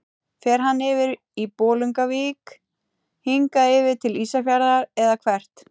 Fer hann yfir í Bolungarvík, hingað yfir til Ísafjarðar eða hvert?